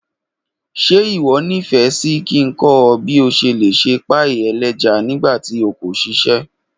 Ṣe iwọ nifẹ si ki n kọ ọ bi o ṣe le se páì-ẹlẹ́ja nígbà tí o kò ṣiṣẹ́?